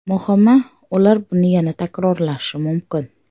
Muhimi, ular buni yana takrorlashi mumkin.